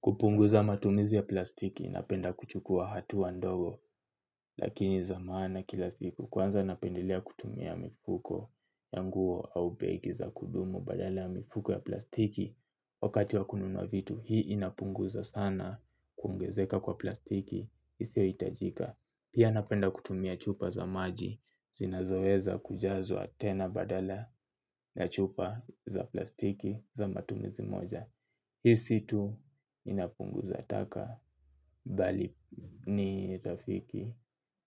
Kupunguza matumizi ya plastiki inapenda kuchukua hatuwa ndogo lakini za maana kila siku kwanza napendelea kutumia mifuko ya nguo au begi za kudumu badala ya mifuko ya plastiki. Wakati wa kununua vitu hii inapunguza sana kuongezeka kwa plastiki isiohitajika. Pia napenda kutumia chupa za maji zinazoweza kujazwa tena badala ya chupa za plastiki za matumizi moja. Hisi tu inapunguza taka bali ni rafiki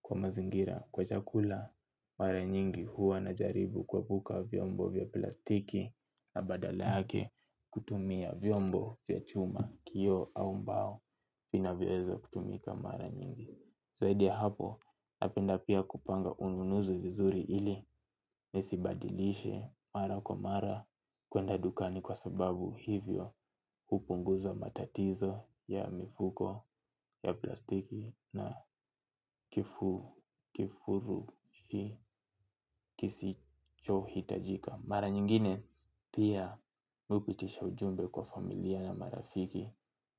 kwa mazingira kwa chakula. Mara nyingi huwa na jaribu kuepuka vyombo vya plastiki na badala yake kutumia vyombo vya chuma, kio au mbao vinavyoweza kutumika mara nyingi. Zaidi ya hapo napenda pia kupanga ununuzi vizuri ili nisibadilishe mara kwa mara kwenda dukani kwa sababu hivyo hupunguza matatizo ya mifuko ya plastiki na kifurushi kisichohi tajika. Mara nyingine pia mi hupitisha ujumbe kwa familia na marafiki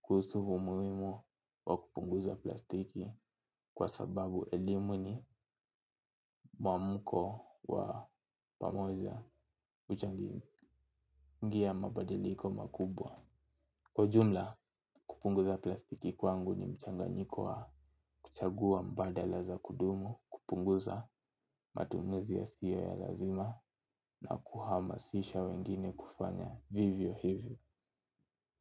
kuhusu umuimu wa kupunguza plastiki kwa sababu elimu ni muamuko wa pamoa huchangia mabadiliko makubwa. Kwa jumla kupunguza plastiki kwangu ni mchanganyiko wa kuchagua mbadala za kudumu, kupunguza matumuzi ya siyo ya lazima na kuhamasisha wengine kufanya vivyo hivyo.